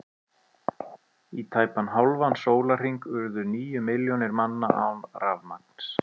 Í tæpan hálfan sólarhring urðu níu milljónir manna án rafmagns.